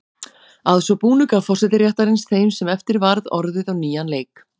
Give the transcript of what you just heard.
Að svo búnu gaf forseti réttarins þeim sem eftir varð orðið á nýjan leik.